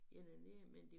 Ja dernede men det